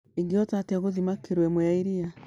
ingĩhota atĩa gũthima kiro ĩmwe ya iria